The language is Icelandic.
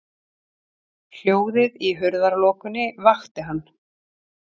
Hljóðið í hurðarlokunni vakti hann.